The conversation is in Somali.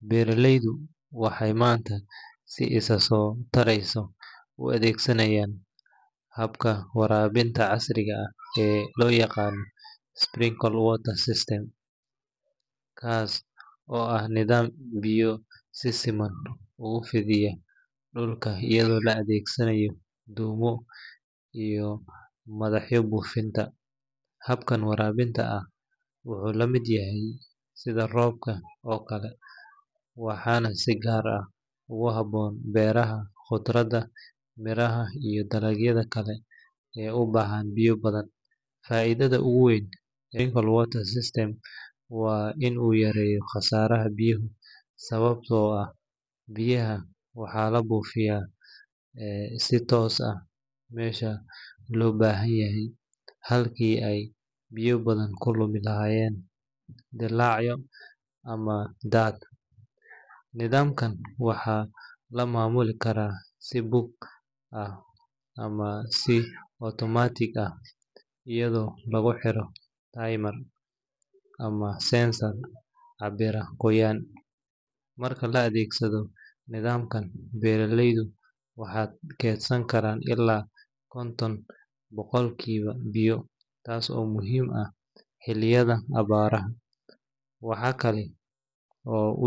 Beeraleyda waxeey maanta u adeegsanaayan habka warabinta casri ah, kaas oo ah nidaam biyo si sifan oogu fidiyo dulka, wuxuu lamid yahay roobka, faidada oogu weyn waa inuu yareeyo khasaraha biyaha, nidaamkan waxaa lamamuli kara si dog ah, marka la adeegsado nidamkan beeraleyda waxeey keedsan karaan biya taas oo muhiim ah xiliyada jilaalka.